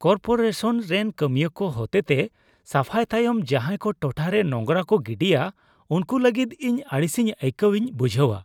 Corporation ᱨᱮᱱ ᱠᱟᱹᱢᱤᱭᱟᱹ ᱠᱚ ᱦᱚᱛᱮᱛᱮ ᱥᱟᱯᱷᱟᱭ ᱛᱟᱭᱚᱢ ᱡᱟᱦᱟᱭ ᱠᱚ ᱴᱚᱴᱷᱟᱨᱮ ᱱᱚᱸᱜᱨᱟ ᱠᱚ ᱜᱤᱰᱤᱭᱟ ᱩᱝᱠᱩ ᱞᱟᱹᱜᱤᱫ ᱤᱧ ᱟᱹᱲᱤᱥᱤᱧ ᱟᱹᱭᱠᱟᱹᱣᱤᱧ ᱵᱩᱡᱷᱟᱹᱣᱟ ᱾